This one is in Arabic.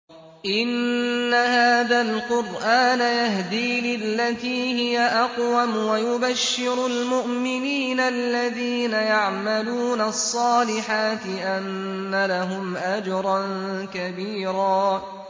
إِنَّ هَٰذَا الْقُرْآنَ يَهْدِي لِلَّتِي هِيَ أَقْوَمُ وَيُبَشِّرُ الْمُؤْمِنِينَ الَّذِينَ يَعْمَلُونَ الصَّالِحَاتِ أَنَّ لَهُمْ أَجْرًا كَبِيرًا